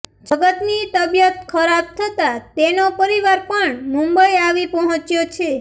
જગનની તબિયત ખરાબ થતાં તેનો પરિવાર પણ મુંબઈ આવી પહોંચ્યો છે